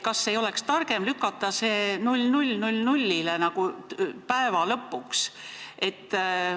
Kas ei oleks targem lükata see tähtaeg 00.00-le, päeva lõpuks?